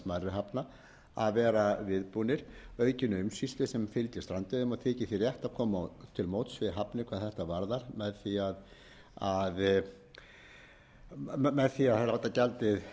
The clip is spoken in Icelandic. hafna að vera viðbúnir aukinni umsýslu sem fylgir strandveiðum og þykir því rétt að koma til móts við hafnir hvað þetta varðar með því að láta gjaldið